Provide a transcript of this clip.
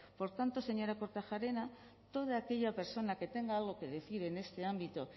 por tanto señora kortajarena toda aquella persona que tenga algo que decir en este ámbito